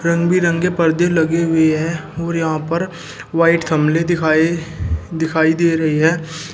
रंगबिरंगे पर्दे लगे हुए हैं और यहां पर व्हाइट दिखाई दिखाई दे रही है।